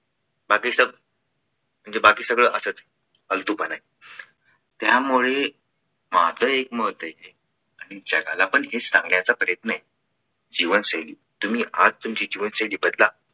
म्हणजे बाकी सगळं असंच फालतूपणा आहे त्याच्या त्यामुळे माझ एक मत आहे आणि जगाला पण हे सांगायचा प्रयत्न आहे जीवन शैली तुम्ही आज तुमची जीवनशैली बदला.